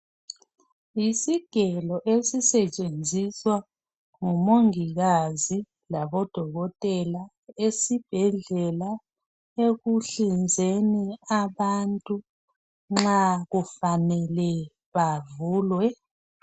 Yisigelo esisetshenziswa ngumongikazi labodokotela esibhedlela, ekuhlinzeni abantu, nxa kufanele bavulwe.